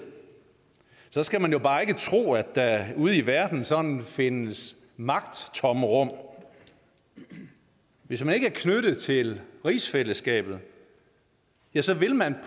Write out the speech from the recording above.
skal man jo bare ikke tro at der ude i verden sådan findes magttomrum hvis man ikke er knyttet til rigsfællesskabet ja så vil man